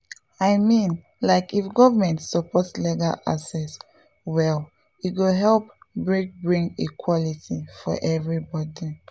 i mean like if government support legal access well e go help bring bring equality for everybody.